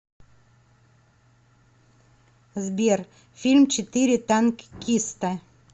сбер фильм четыре танккиста